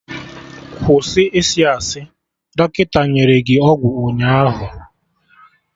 Kwụsị isi asị! Dọkịta nyere gị ọgwụ ụnyaahụ